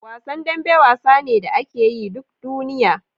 Wasan dambe wasa ne da akeyi duk duniya